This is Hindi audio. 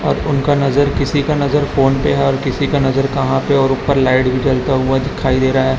और उनका नज़र किसी का नज़र फोन पे है और किसी का नज़र कहाँ पे है और ऊपर लाईट भी जलता हुआ दिखाई दे रहा है।